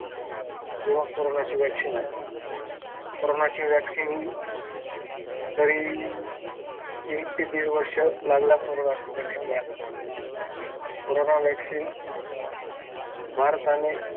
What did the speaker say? जेव्हा कोरोनाची वॅक्सीन आली कोरोनाची वॅक्सीन हि तरी एक ते दीड वर्ष लागला कोरोना वॅक्सीन घ्यायला कोरोना वॅक्सीन भारताने